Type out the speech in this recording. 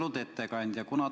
Austatud ettekandja!